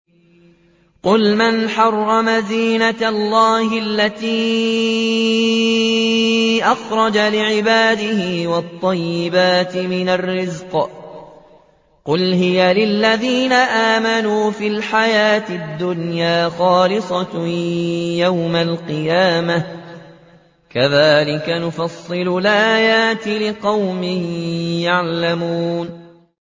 قُلْ مَنْ حَرَّمَ زِينَةَ اللَّهِ الَّتِي أَخْرَجَ لِعِبَادِهِ وَالطَّيِّبَاتِ مِنَ الرِّزْقِ ۚ قُلْ هِيَ لِلَّذِينَ آمَنُوا فِي الْحَيَاةِ الدُّنْيَا خَالِصَةً يَوْمَ الْقِيَامَةِ ۗ كَذَٰلِكَ نُفَصِّلُ الْآيَاتِ لِقَوْمٍ يَعْلَمُونَ